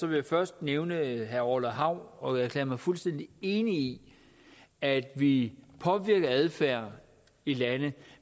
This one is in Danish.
vil jeg først nævne herre orla hav og erklære mig fuldstændig enig i at vi påvirker adfærd i lande